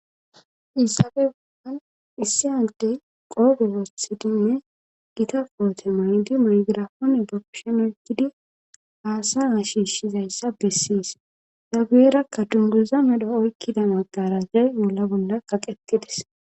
issaabe bollan issi hantey qoobewothidinne gita poote maydi maygira hone gapshonegidi haasa ha shiishshizayssa bessiis daguyerakka dunduza medo oykkida maggarazay bolla bolla kaqetides